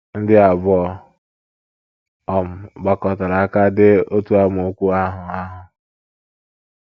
Ndị abụọ um gbakọtara aka dee otu amaokwu ahụ ahụ?